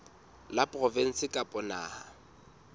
la provinse kapa la naha